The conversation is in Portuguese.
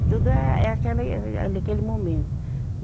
Tudo é, é aquela e ali aquele momento.